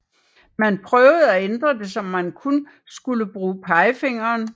Man prøvede at ændre det så man kun skulle bruge pegefingeren